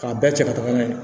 K'a bɛɛ cɛ ka taga n'a ye